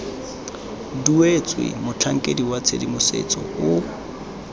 duetswe motlhankedi wa tshedimosetso o